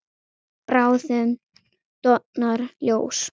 Bráðum dofnar ljós.